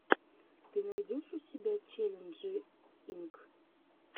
ты найдешь у себя челленджи инк